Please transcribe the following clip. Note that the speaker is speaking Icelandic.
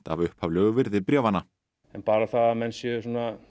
af upphaflegu virði bréfanna en bara það að menn séu